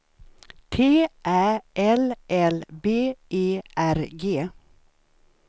T Ä L L B E R G